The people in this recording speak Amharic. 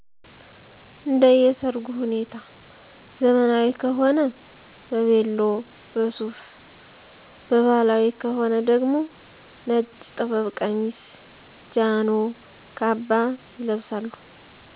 እንደየ ሰርጉ ሁኔታ ዘመናዊ ከሆነ በቬሎ፣ በሱፍ በባህላዊ ከሆነ ደግሞ ነጭ ጥበብ ቀሚስ፣ ጃኖ፣ ካባ ይለበሳሉ።